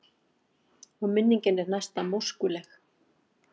Og minningin er næsta móskuleg.